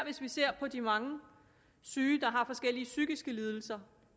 ser på de mange syge der har forskellige psykiske lidelser